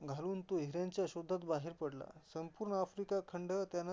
गाऊन लावून तो हिऱ्यांच्या शोधात बाहेर पडला, संपूर्ण आफ्रिका खंड त्यान